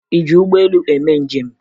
Ị ji ụgbọelu eme njem?